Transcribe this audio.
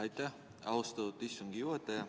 Aitäh, austatud istungi juhataja!